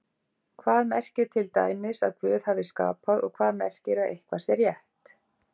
Hvað merkir til dæmis að Guð hafi skapað og hvað merkir að eitthvað sé rétt?